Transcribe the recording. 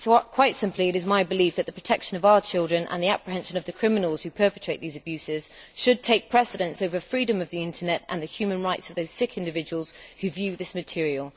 Quite simply, it is my belief that the protection of our children and the apprehension of the criminals who perpetrate these abuses should take precedence over freedom of the Internet and the human rights of those sick individuals who view this material.